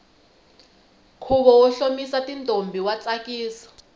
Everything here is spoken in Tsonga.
khuvo wo hlomisa ntombi wa tsakisa